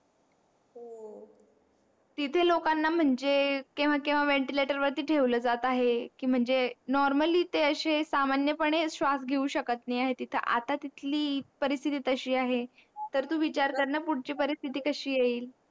इथे लोकांना म्हणजे केव्हा केव्हा ventilator वरती ठेवलं जात आहे म्हणजे normally ते असे सामान्य पणे ते श्वास घेऊ शकत नाही आता ची परिस्तिथी तशी आहे तर तुम्ही विचार करा पुढची परिस्थिती कशी येईल